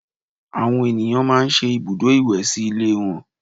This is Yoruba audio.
Àwọn ènìyàn máa ń ṣe ibùdó ìwẹ̀ sí ilé wọn